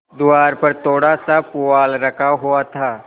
द्वार पर थोड़ासा पुआल रखा हुआ था